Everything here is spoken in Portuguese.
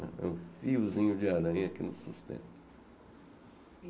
É um fiozinho de aranha que nos sustenta.